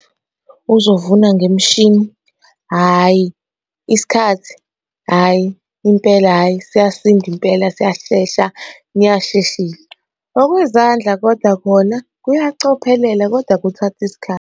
Uzovuna ngemishini, hhayi isikhathi, hhayi impela, hhayi siyasinda impela siyashesha niyasheshisa. Okuyizandla koda khona kuyacophelela kodwa kuthatha isikhathi.